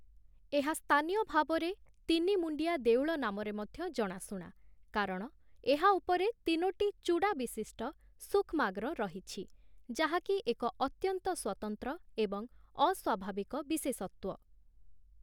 ଏହା ସ୍ଥାନୀୟ ଭାବରେ ତିନି-ମୁଣ୍ଡିଆ ଦେଉଳ ନାମରେ ମଧ୍ୟ ଜଣାଶୁଣା କାରଣ ଏହା ଉପରେ ତିନୋଟି ଚୂଡ଼ାବିଶିଷ୍ଟ ସୂକ୍ଷ୍ମାଗ୍ର ରହିଛି, ଯାହାକି ଏକ ଅତ୍ୟନ୍ତ ସ୍ୱତନ୍ତ୍ର ଏବଂ ଅସ୍ୱାଭାବିକ ବିଶେଷତ୍ୱ ।